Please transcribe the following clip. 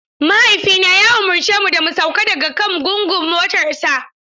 Mahaifina ya umarce mu da mu sauko daga kan gungun motarsa.